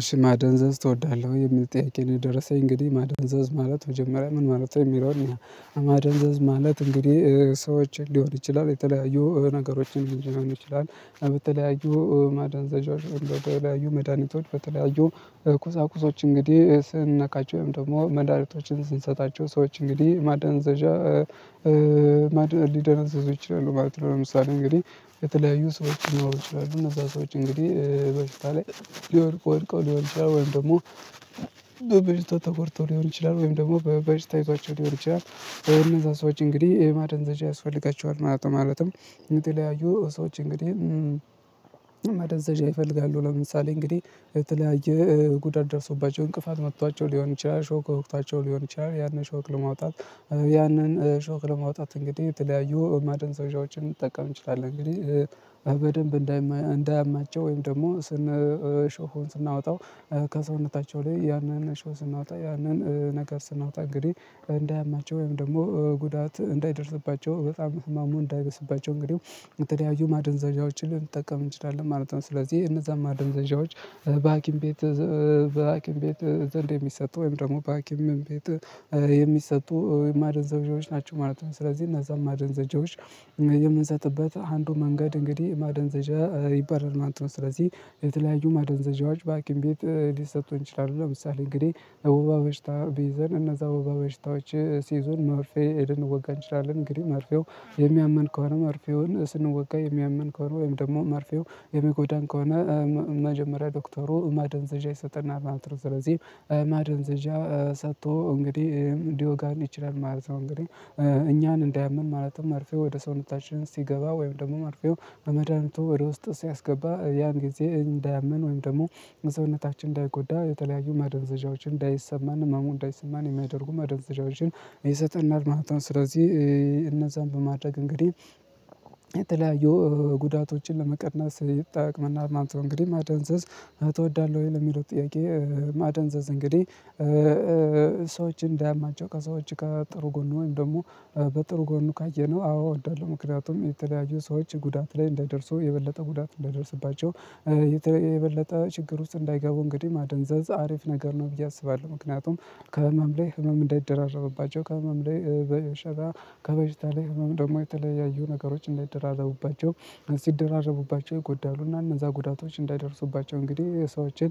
እሺ "ማደንዘዝ ትወዳለህ ወይ? የሚል ጥያቄ ነው የደረሰኝ። እንግዲህ ማደንዘዝ ማለት መጀመሪያ ምን ማለት ነው የሚለው እንይ፤ ማደንዘዝ ማለት እንግዲህ ሰዎችን ሊሆን ይችላል የተለያዩ ነገሮችን ሊሆን ይችላል በተለያዩ ማደን ዘዣዎች፣ በተለያዩ መድኃኒቶች፣ በተለያዩ ቁሳቁሶች እንግዲህ ስንነካቸው ወይም ደግሞ መዳኒቶችን ስንሰጣቸው ሰዎች እንግዲህ ማደንዘዣ ሊደነዝዙ ይችላሉ ማለት ነው። ለምሳሌ እንግዲህ የተለያዩ ሰዎች ሊኖሩ ይችላሉ፤ እነዛ ሰዎች እንግዲህ በሽታ ላይ ሊወድቁ ወድቀው ሊሆን ይችላል፤ ወይም ደግሞ በበሽታ ተጎድተው ሊሆን ይችላል ወይም ደግሞ በበሽታ ይዟቸው ሊሆን ይችላል። እነዛን ሰዎች እንግዲህ ማደንዘዣ ያስፈልጋቸዋል ማለት ነው። ማለትም የተለያዩ ሰዎች እንግዲህ ማደንዘዣ ይፈልጋሉ። ለምሳሌ እንግዲህ የተለያየ ጉዳት ደርሶባቸው እንቅፋት መቷቸው ሊሆን ይችላል፣ ሾክ ወግቷቸው ሊሆን ይችላል ያንን ሾክ ለማውጣት ያንን ሾክ ለማውጣት እንግዲህ የተለያዩ ማደንዘዣዎችን ልንጠቀም እንችላለን። እንግዲህ በደንብ እንዳይማ እንዳያማቸው ወይም ደግሞ ስን ሾኩን ስናወጣው ከሰውነታቸው ላይ ያንን ሾህ ስናወጣ ያንን ነገር ስናወጣ እንግዲህ እንዳያማቸው ወይም ደግሞ ጉዳት እንዳይደርስባቸው በጣም ህማሙ እንዳይብስባቸው እንግዲህ የተለያዩ ማደንዘዣዎችን ልንጠቀም እንችላለን ማለት ነው። ስለዚህ እነዛ ማደንዘዣዎች በሀኪም ቤት በሀኪም ቤት ዘንድ የሚሰጡ፣ ወይም ደግሞ በሀኪም ቤት የሚሰጡ የማደንዘዣዎች ናቸው ማለት ነው። ስለዚህ እነዛን ማደንዘዣዎች የምንሰጥበት አንዱ መንገድ እንግዲህ ማደንዘዣ ይባላል ማለት ነው። ስለዚህ የተለያዩ ማደንዘዣዎች በሀኪም ቤት ሊሰጡን ይችላሉ። ለምሳሌ እንግዲህ ወባ በሽታ ቢይዘን እነዛ ወባ በሽታዎች ሲይዙን መርፌ ሄደን ልንወጋ እንችላለን፤ እንግዲህ መርፌው የሚያመን ከሆነ መርፌውን ስንወጋ የሚያመን ከሆነ ወይም ደግሞ መርፌው የሚጎዳን ከሆነ መጀመሪያ ዶክተሩ ማደንዘዣ ይሰጠናል ማለት ነው። ስለዚህ ማደንዘዣ ሰጥቶ እንግዲህ ሊወጋን ይችላል ማለት ነው እንግዲህ እኛን እንዳያምን ማለትም መርፌ ወደ ሰውነታችን ሲገባ ወይም ደግሞ መርፌው በመድሃኒቱ ወደ ውስጥ ሲያስገባ ያን ጊዜ እንዳያመን ወይም ደግሞ መሰውነታችን እንዳይጎዳ የተለያዩ ማደንዘዣዎችን እንዳይሰማን ህመሙን እንዳይሰማን የሚያደርጉ ማደንዘዣዎችን ይሰጠናል ማለት ነው። ስለዚህ እነዛን በማድረግ እንግዲህ የተለያዩ ጉዳቶችን ለመቀነስ ይጠቅመናል ማለት ነው። እንግዲህ "ማደንዘዝ ትወዳለሁ ወይ?" ለሚለው ጥያቄ፣ ማደንዘዝ እንግዲህ ሰዎችን እንዳያማቸው ከሰዎች ጋር ጥሩ ጎኑ ወይም ደግሞ በጥሩ ጎኑ ካየነው አዎ እወዳለሁ። ምክንያቱም የተለያዩ ሰዎች ጉዳት ላይ እንዳይደርሱ የበለጠ ጉዳት እንዳይደርስባቸው የተ የበለጠ ችግር ውስጥ እንዳይገቡ እንግዲህ ማደንዘዝ አሪፍ ነገር ነው ብዬ አስባለሁ። ምክንያቱም ከህመም ላይ ህመም እንዳይደራረቡባቸው ከህመም ላይ በሸታ፣ ከበሽታ ላይ ህመም ደግሞ የተለያዩ ነገሮች እንዳይደራረቡባቸው ሲድርራረቡባቸው ይጎዳሉ፤ እና እነዛ ጉዳቶች እንዳይደርሱባቸው እንግዲህ ሰዎችን